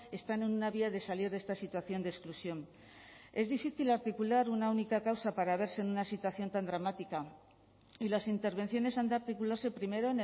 están en una vía de salir de esta situación de exclusión es difícil articular una única causa para verse en una situación tan dramática y las intervenciones han de articularse primero